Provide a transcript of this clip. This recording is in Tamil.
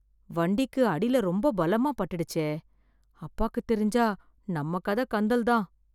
வண்டிக்கு அடில ரொம்ப பலமா பட்டுடுச்சே! அப்பாக்குத் தெரிஞ்சா நம்ம கத கந்தல் தான்.